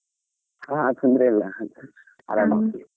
ಹಾ ತೊಂದರೆ ಇಲ್ಲಾ ಆರಾಮಾ.